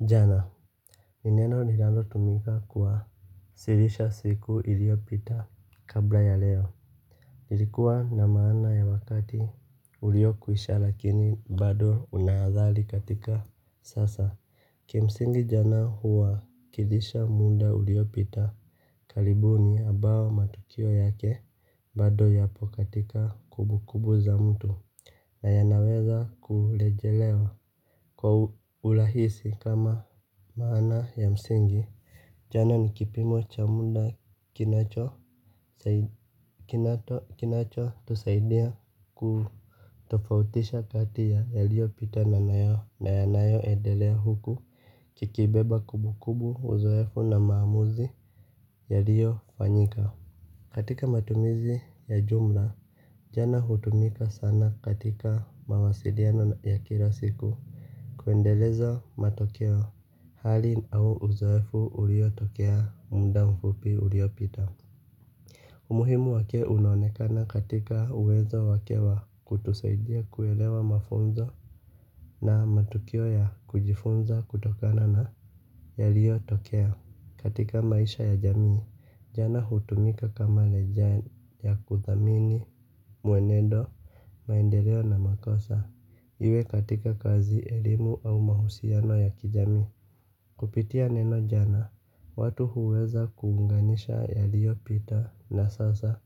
Jana. Ni neno linalotumika siku iliyopita kabla ya leo. Nilikuwa na maana ya wakati ulio kwisha lakini bado una adhari katika sasa. Kimsingi jana huwakilisha muda uliopita. Karibuni ambao matukio yake bado yapo katika kumbukumbu za mtu. Na yanaweza kurejelewa. Kwa urahisi kama maana ya msingi, jana ni kipimo cha muda kinachotusaidia kutofautisha kati ya yaliyopita na yanayo endelea huku kikibeba kumbukumbu uzoefu na maamuzi yaliyo fanyika. Katika matumizi ya jumla, jana hutumika sana katika mawasiliano ya kila siku. Kuendeleza matokeo hali au uzoefu uliotokea muda mfupi uliopita. Umuhimu wake unaonekana katika uwezo wake wa kutusaidia kuelewa mafunzo na matukio ya kujifunza kutokana na yaliyotokea katika maisha ya jamii jana hutumika kama leja ya kudhamini mwenedo. Maendeleo na makosa, iwe katika kazi, elimu au mahusiano ya kijami. Kupitia neno jana, watu huweza kuunganisha yaliyopita na sasa,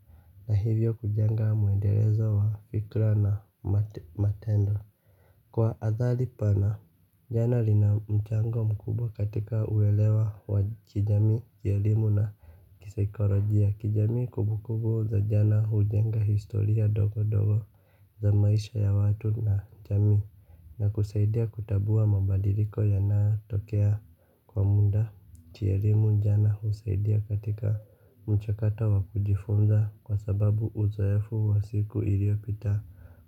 na hivyo kujenga mwendelezo wa fikra na matendo. Kwa athari pana, jana lina mchango mkubwa katika uelewa wa kijami, ya elimu na kisaekolojia ya kijamii kumbukumbu za jana hujenga historia ndogondogo. Za maisha ya watu na jamii na kusaidia kutambua mabadiliko yanayotokea kwa muda Chiarimu jana husaidia katika mchakato wa kujifunza kwa sababu uzoefu wa siku iliyopita.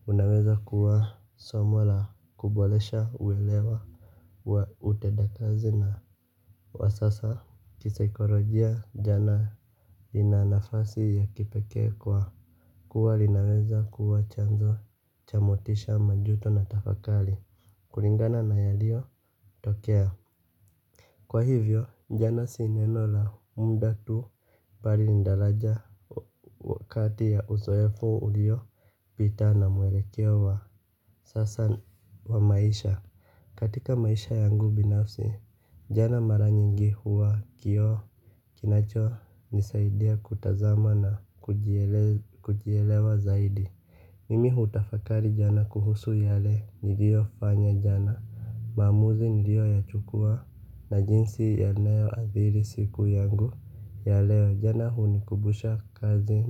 Unaweza kuwa somo la kuboresha uwelewa wa utendakazi na wa sasa. Kisaikolojia jana lina nafasi ya kipekee kwa kuwa linaweza kuwa chanzo cha motisha majuto na tafakari, kulingana na yaliyotokea. Kwa hivyo, jana si neno la muda tu mbali ni daraja wakati ya uzoefo uliopita na mwelekeo wa sasa wa maisha. Katika maisha yangu binafsi, jana mara nyingi huwa kioo. Kinachonisaidia kutazama na kujielewa zaidi. Mimi hutafakari jana kuhusu yale niliofanya jana maamuzi nilioyachukua na jinsi yanavyoadhiri i siku yangu ya leo jana hunikumbusha kazi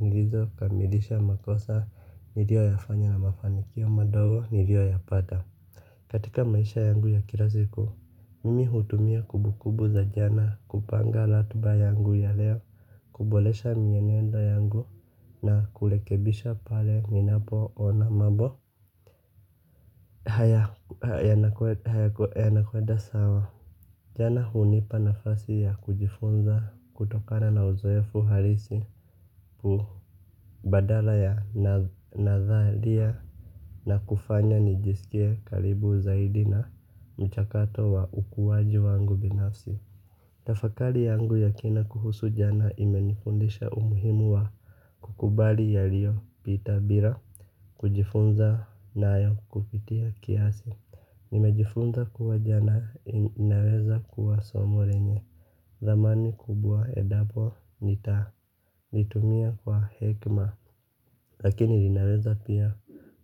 nilizo kamilisha makosa niliyoyafanya na mafanikio madogo niliyoyapata. Katika maisha yangu ya kila siku, mimi hutumia kumbukumbu za jana kupanga ratiba yangu ya leo, kuboresha mienendo yangu na kurekebisha pale ninapoona mambo. Yanakwenda sawa. Jana hunipa nafasi ya kujifunza kutokana na uzoefu halisi badala ya nadhalia. Na kufanya nijisikie karibu zaidi na mchakato wa ukuwaji wangu binafsi. Tafakari yangu ya kina kuhusu jana imenifundisha umuhimu wa kukubali yaliyopita bila kujifunza nayo kupitia kiasi. Nimejifunza kuwa jana inaeza kuwa somo lenye dhamani kubwa endapo nitalitumia kwa hekima. Lakini linaeza pia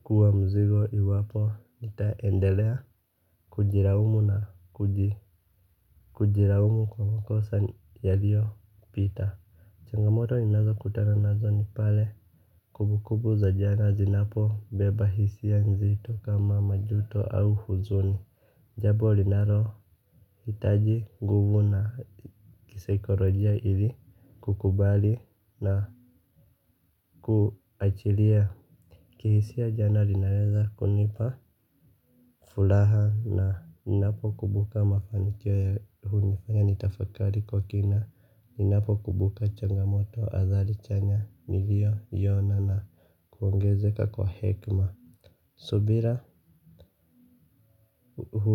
kuwa mzigo iwapo nitaendelea kujilaumu na kujilaumu kwa makosa yaliyopita. Changamoto ninazo kutana nazo ni pale kumbukumbu za jana zinapobeba hisia nzito kama majuto au huzuni. Jambo linalo hitaji nguvu na kisekolojia ili kukubali na kuachilia. Kihisia jana linaweza kunipa furaha na ninapokumbuka mafanikio ya hunifanya nitafakari kwa kina ninapo kumbuka changamoto adhari chanya niliyo ona na kuongezeka kwa hekima. Subira uhuru.